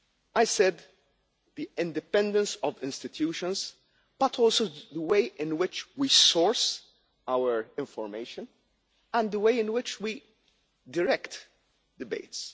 I said the independence of institutions, but also the way in which we source our information and the way in which we direct debates.